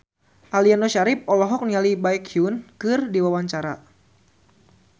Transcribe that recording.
Aliando Syarif olohok ningali Baekhyun keur diwawancara